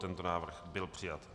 Tento návrh byl přijat.